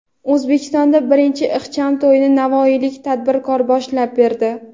O‘zbekistonda birinchi ixcham to‘yni navoiylik tadbirkor boshlab berdi.